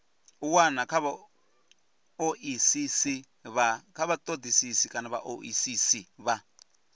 u wana kha vhaoisisi vha